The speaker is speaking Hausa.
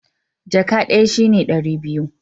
Jaka ɗaya shi ne ɗari biyu